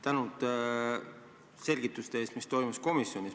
Tänud selgituste eest komisjonis toimunu kohta!